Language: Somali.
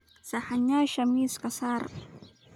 Saxanyasha miiska saar.